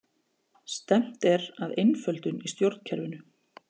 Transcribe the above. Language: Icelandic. Stefnt er að einföldun í stjórnkerfinu